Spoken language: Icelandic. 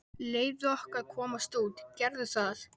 Leyfðu okkur að komast út, gerðu það!